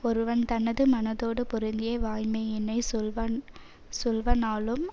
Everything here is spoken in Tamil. ஒருவன் தனது மனத்தோடு பொருந்திய வாய்மையினைச் சொல்வன் சொல்வனாலும்